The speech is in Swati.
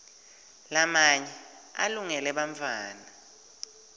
lamanye alungele bantfwana